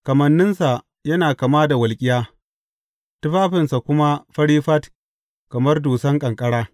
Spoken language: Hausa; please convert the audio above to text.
Kamanninsa yana kama da walƙiya, tufafinsa kuma fari fat kamar dusan ƙanƙara.